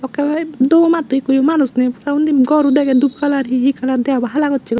ka ep duo matto ekkoyo manuj nei pura undi gor o degei dup kalar hi hi kalar deabo hala gossegoi.